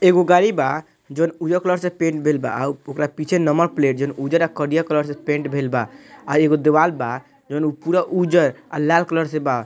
एगो गाड़ी बा जॉन उजर कलर से पेंट भेल बा । आ उ ओकर पीछे नंबर प्लेट जन उजर आ करिया कलर से पेंट भेल बा । आ एगो दीवाल बा जोन उ पुरा उजर आ लाल कलर से बा ।